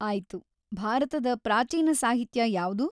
ಆಯ್ತು. ಭಾರತದ ಪ್ರಾಚೀನ ಸಾಹಿತ್ಯ ಯಾವ್ದು?